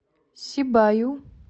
сибаю